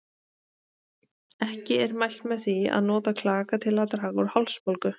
Ekki er mælt með því að nota klaka til að draga úr hálsbólgu.